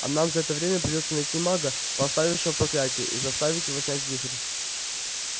а нам за это время придётся найти мага поставившего проклятие и заставить его снять вихрь